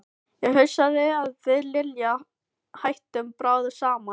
Ég hugsa að við Lilja hættum bráðum saman.